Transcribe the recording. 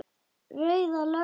Rauða löggan lyftir upp hönd.